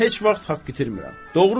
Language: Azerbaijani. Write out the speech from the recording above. Mən heç vaxt haqq itirmirəm.